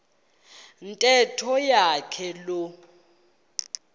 ntetho yonke loo